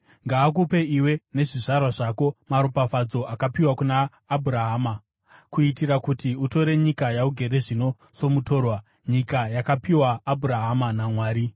Ngaakupe iwe nezvizvarwa zvako maropafadzo akapiwa kuna Abhurahama, kuitira kuti utore nyika yaugere zvino somutorwa, nyika yakapiwa Abhurahama naMwari.”